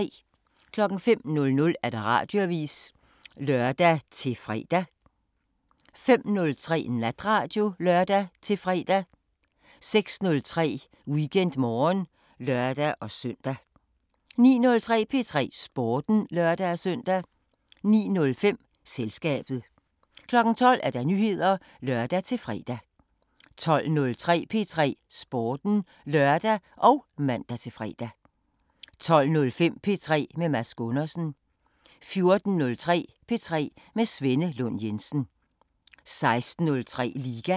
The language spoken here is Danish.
05:00: Radioavisen (lør-fre) 05:03: Natradio (lør-fre) 06:03: WeekendMorgen (lør-søn) 09:03: P3 Sporten (lør-søn) 09:05: Selskabet 12:00: Nyheder (lør-fre) 12:03: P3 Sporten (lør og man-fre) 12:05: P3 med Mads Gundersen 14:03: P3 med Svenne Lund Jensen 16:03: Liga